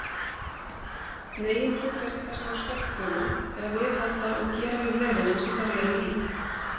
Meginhlutverk þessara stofnfrumna er að viðhalda og gera við vefina sem þær eru í.